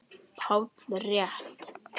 PÁLL: Rétt!